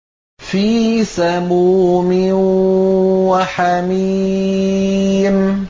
فِي سَمُومٍ وَحَمِيمٍ